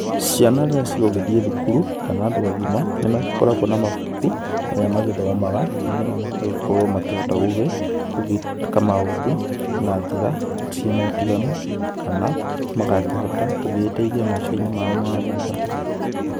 Ciana rĩrĩa cigũgĩthiĩ thukuru, kana andũ agima, nĩmagĩkoragũo na mabuku marĩa magĩthomaga, nĩgetha magagĩkorũo makĩhota gũgĩka maũndũ, na njĩra ciĩna ũtiganu, kana magakĩhota gũgĩteithia maica-inĩ mao ma thutha.